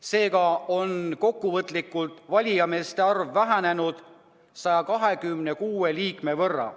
Seega on valijameeste arv vähenenud 126 võrra.